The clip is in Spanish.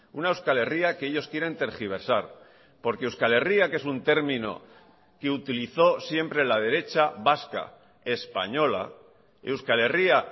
una euskal herria que ellos quieren tergiversar porque euskal herria que es un término que utilizó siempre la derecha vasca española euskal herria